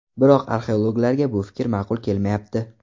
Biroq arxeologlarga bu fikr ma’qul kelmayapti.